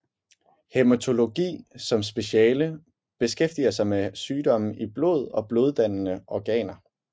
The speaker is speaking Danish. Hæmetologi som speciale beskæftiger sig med sygdomme i blod og bloddannende organer